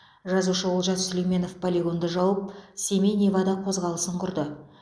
жазушы олжас сүлейменов полигонды жауып семей невада қозғалысын құрды